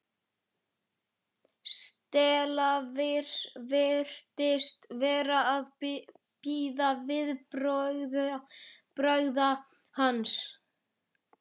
Stella virtist vera að bíða viðbragða hans.